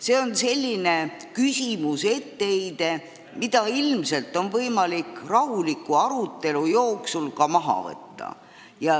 See on selline etteheide, mida on ilmselt võimalik rahuliku arutelu jooksul maha võtta.